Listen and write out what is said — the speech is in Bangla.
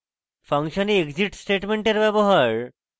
function a exit স্টেটমেন্টের ব্যবহার